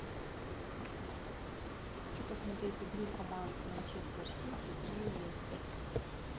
хочу посмотреть игру команд манчестер сити и лестер